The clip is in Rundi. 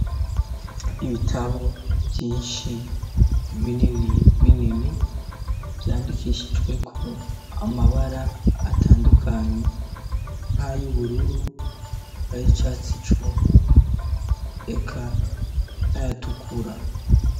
Ibitabo vyinshi binini binini vyandikishijweko amabara atandukanye nk'ayo ubururu ari icatsi cunwe eka nayatukura.